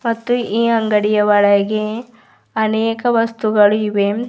ಮತ್ತು ಈ ಅಂಗಡಿಯ ಒಳಗೆ ಅನೇಕ ವಸ್ತುಗಳು ಇವೆ.